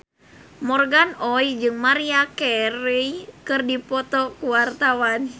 Morgan Oey jeung Maria Carey keur dipoto ku wartawan